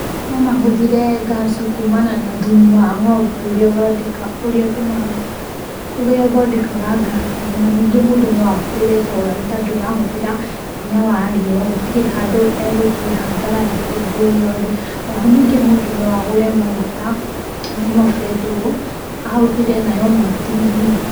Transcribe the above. No mahũthĩre ngasi kumana na thumu wa ng'ombe ũrĩa ũthondekaga ngasi ĩyo na ningĩ mũndũ no ahũthĩre solar nĩ tondũ ĩrahũthĩra hinya wa riũa gũtirĩ handũ egũthiĩ hathara ya kĩndũ o gĩothe, o ho ningĩ mũndũ no agũre maguta nĩmo betũrũ, ahũthĩre nayo macini-inĩ.